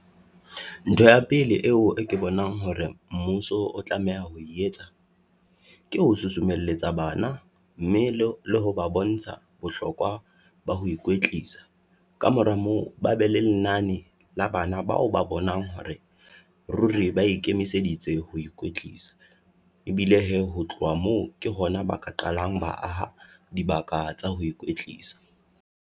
Ntho ya pele eo e ke bonang hore mmuso o tlameha ho etsa, ke ho susumelletsa bana mme le ho ba bontsha bohlokwa ba ho ikwetlisa. Kamora moo, ba be le lenane la bana bao ba bonang hore ruri ba ikemiseditse ho ikwetlisa. Ebile hee, ho tloha moo ke hona ba ka qalang ba aha dibaka tsa ho ikwetlisa.